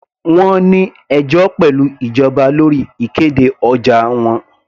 Wọ́n ní ẹjọ́ pẹ̀lú ìjọba lórí ìkéde ọjà wọn.